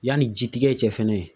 Yani ji tigɛ cɛ fɛnɛ